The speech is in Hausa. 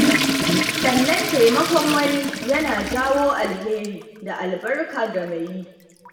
Sannan taimakon wani yana jawo alheri da albarka ga mai yi.